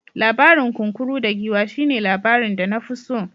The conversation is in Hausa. Labarin kunkuru da giwa shine labarin da na fi so.